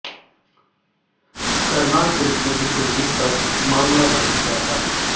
Karnal police ने भी कुलजीत पर मामला दर्ज किया था